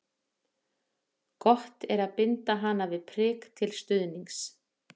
Gott er að binda hana við prik til stuðnings.